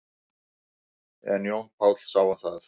En Jón Páll sá um það.